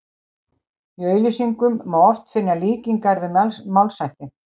Í auglýsingum má oft finna líkingar við málshætti.